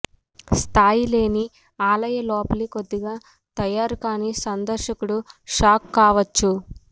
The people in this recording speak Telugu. స్థాయి లేని ఆలయ లోపలి కొద్దిగా తయారుకాని సందర్శకుడు షాక్ కావచ్చు